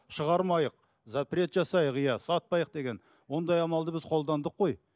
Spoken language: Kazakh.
шығармайық запрет жасайық иә сатпайық деген ондай амалды біз қолдандық қой